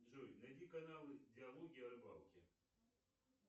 джой найди канал диалоги о рыбалке